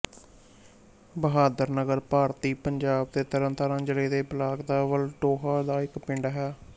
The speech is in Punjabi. ਬਹਾਦਰ ਨਗਰ ਭਾਰਤੀ ਪੰਜਾਬ ਦੇ ਤਰਨਤਾਰਨ ਜ਼ਿਲ੍ਹੇ ਦੇ ਬਲਾਕ ਵਲਟੋਹਾ ਦਾ ਇੱਕ ਪਿੰਡ ਹੈ